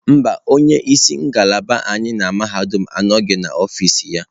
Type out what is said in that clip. Mba, onye isi ngalaba anyị na mahadum anọghị n'ọfịs ya.